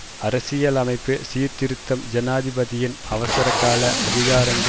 அரசியலமைப்பு சீர்திருத்தம் ஜனாதிபதியின் அவசரகால அதிகாரங்கள் மீதும்